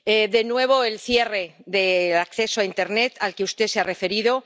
De nuevo, el cierre del acceso a Internet, al que usted se ha referido.